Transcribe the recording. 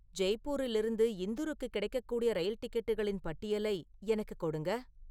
ஜெய்ப்பூரிலிருந்து இந்தூருக்கு கிடைக்கக்கூடிய ரயில் டிக்கெட்டுகளின் பட்டியலை எனக்கு கொடுங்க